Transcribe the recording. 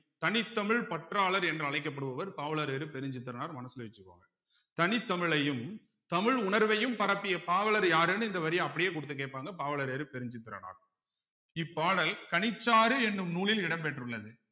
கனித் தமிழ் பற்றாளர் என்று அழைக்கப்படுபவர் பாவலரேறு பெருஞ்சித்திரனார் மனசுல வச்சுக்கோங்க தனித் தமிழையும் தமிழ் உணர்வையும் பரப்பிய பாவலர் யாருன்னு இந்த வரிய அப்படியே குடுத்து கேப்பாங்க பாவலரேறு பெருஞ்சித்திரனார் இப்பாடல் கனிச்சாறு என்னும் நூலில் இடம் பெற்றுள்ளது